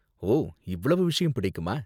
ஓ, இவ்ளோ விஷயம் பிடிக்குமா?